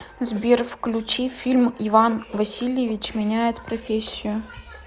сбер включи фильм иван васильевич меняет профессию